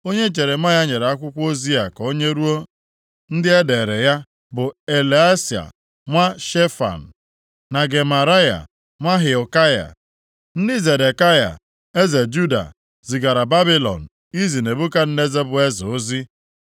Onye Jeremaya nyere akwụkwọ ozi a ka o nyeruo ndị e deere ya bụ Eleasa nwa Shefan, na Gemaraya nwa Hilkaya, ndị Zedekaya eze Juda zigara Babilọn izi Nebukadneza bụ eze ozi.